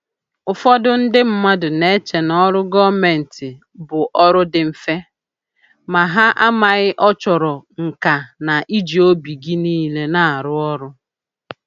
Ụfọdụ ndị mmadụ na-eche n'ọrụ gọọmentị bụ ọrụ dị mfe, ma ha amaghị ọ chọrọ nka na iji obi gị niile arụ ọrụ